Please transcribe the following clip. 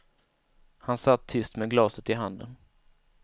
Han satt tyst med glaset i handen.